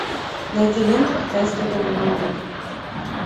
найди ленту китайская головоломка